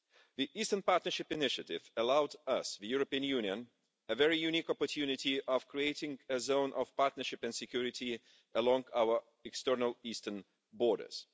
The Eastern Partnership initiative allowed us, the European Union, a very unique opportunity of creating a zone of partnership and security along our external eastern borders.